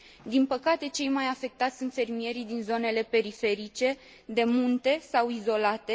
Din păcate, cei mai afectați sunt fermierii din zonele periferice, de munte, sau izolate.